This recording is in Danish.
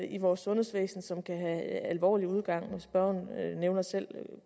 i vores sundhedsvæsen som kan have alvorlig udgang spørgeren nævner selv